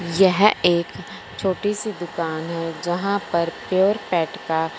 यह एक छोटी सी दुकान है जहां पर प्योर पेट का--